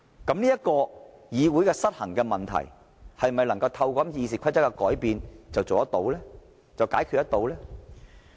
這個議會失衡的問題，是否能夠透過修訂《議事規則》便能解決呢？